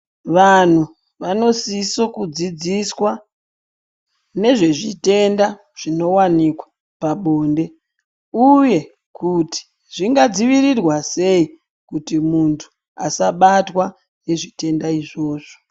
Vantu vanosiso kudzidziswa nezvezvitenda zvinovanikwa pabonde, uye kuti zvingadzivirirwa sei kuti muntu asabatwa ngezvitenda izvozvo.